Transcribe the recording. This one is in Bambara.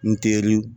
N teri